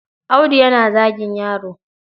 Audu yana zagin yaron.